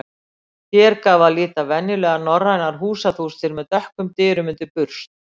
Hér gaf að líta venjulegar norrænar húsaþústir með dökkum dyrum undir burst.